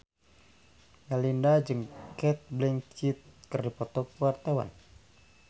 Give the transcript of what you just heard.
Melinda jeung Cate Blanchett keur dipoto ku wartawan